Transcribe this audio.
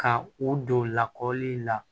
Ka u don lakɔli la